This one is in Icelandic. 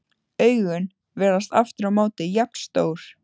Augun virðast aftur á móti jafn stór.